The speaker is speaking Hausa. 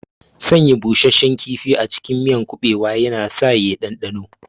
Sanya busasshen kifi a cikin miyar kuɓewa yana sa ya ɗanɗano,